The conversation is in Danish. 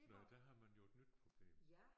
Nåh ja der har man jo et nyt problem